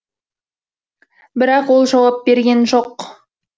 бірақ ол жауап берген жоқ